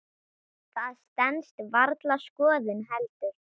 Það stenst varla skoðun heldur.